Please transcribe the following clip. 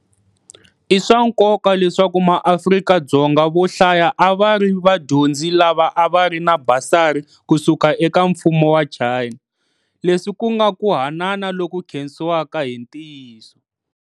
I swa nkoka leswaku maAfrika-Dzonga vo hlaya a va ri vadyondzi lava a va ri na basari ku suka eka mfumo wa China, leswi ku nga ku hanana loku khensiwaka hi ntiyiso.